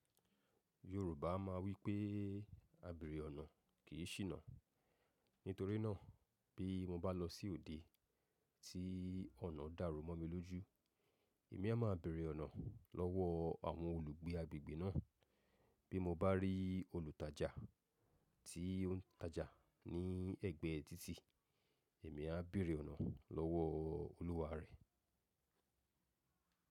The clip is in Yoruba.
Yorùbá má a wípé “àbèrè ọ̀nà kì í ṣìnà”, nítorínà bí mo bá lọ sí òde tí ọ̀nà dàrú mọ́ mi lójú, èmi a máa bèèrè ọ̀nà lọ́wọ́ àwọn olùgbé agbègbè náà. Bí mo bá rí olùtajà tí ó ń tajà ní ẹ̀gbẹ́ títì, èmi a bèèrè ọ̀nà lọ́wọ́ olúwa rẹ̀.